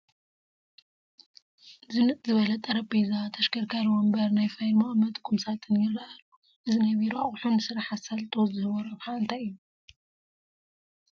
ዝንጥ ዝበለ ጠረጴዛ፣ ተሽከርካሪ ወንበር፣ ናይ ፋይል መቐመጢ ቁም ሳጥን ይርአ ኣሎ፡፡ እዚ ናይ ቢሮ ኣቑሑ ንስራሕ ኣሳልጦ ዝህቦ ረብሓ እንታይ እዩ?